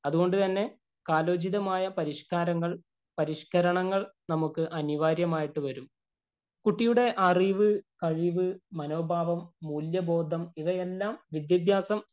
അതുകൊണ്ട് തന്നെ കാലോചിതമായ പരിഷ്കാരങ്ങള്‍, പരിഷ്കരണങ്ങള്‍ നമുക്ക് അനിവാര്യമായിട്ട് വരും. കുട്ടിയുടെ അറിവ്, കഴിവ്, മനോഭാവം, മൂല്യബോധം ഇവയെല്ലാം വിദ്യാഭ്യാസം